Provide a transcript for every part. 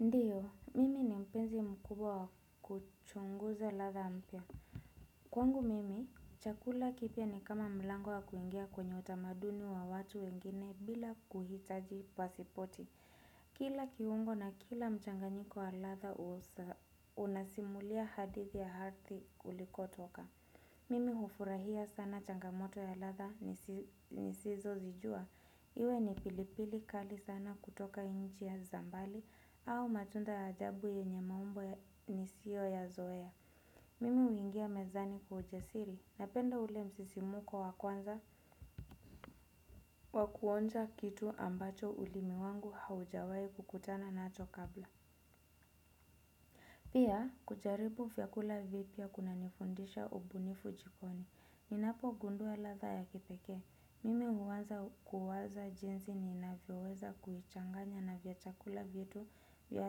Ndiyo, mimi ni mpenzi mkubwa wa kuchunguza ladha mpya. Kwangu mimi, chakula kipia ni kama mlango wakuingia kwenye utamaduni wa watu wengine bila kuhitaji pasipoti. Kila kiungo na kila mchanganyiko wa ladha unasimulia hadithi ya hadhi ulikotoka. Mimi hufurahia sana changamoto ya ladha nisizozijua. Iwe ni pilipili kali sana kutoka nchi ya za mbali au matunda ya ajabu yenye maumbo nisiyoyazoea. Mimi huingia mezani kwa ujasiri napenda ule msisimuko wa kwanza wa kuonja kitu ambacho ulimi wangu haujawai kukutana nacho kabla. Pia kujaribu vyakula vipya kunanifundisha ubunifu jikoni. Ninapo gundua ladha ya kipekee, mimi huwaza kuwaza jinsi niinavyoweza kuichanganya na vya chakula vitu vya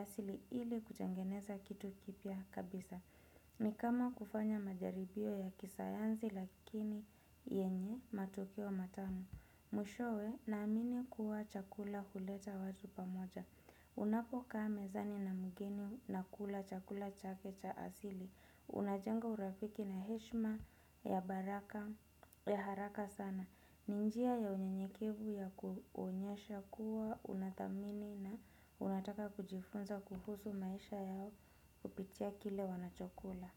asili ili kutengeneza kitu kipya kabisa. Ni kama kufanya majaribio ya kisayansi lakini yenye matukio matamu. Mwishowe naamini kuwa chakula huleta watu pamoja. Unapokaa mezani nakula chakula chake za asili unajengo urafiki na heshima ya haraka sana ni njia ya unyenyekevu ya kuonyesha kuwa unathamini na unataka kujifunza kuhusu maisha kupitia kile wanachokula.